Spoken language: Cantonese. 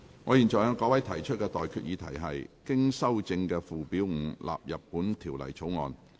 我現在向各位提出的待決議題是：經修正的附表5納入本條例草案。